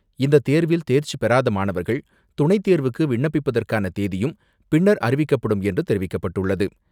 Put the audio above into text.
இந்த தேர்வில் தேர்ச்சிபெறாத மாணவர்கள், துணைத் தேர்வுக்கு விண்ணப்பிப்பதற்கான தேதியும் பின்னர் அறிவிக்கப்படும் என்று தெரிவிக்கப்பட்டுள்ளது.